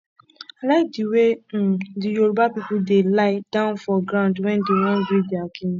i like the way um the yoruba people dey lie down for ground wen dey wan greet their king